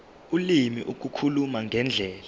ulimi ukukhuluma ngendlela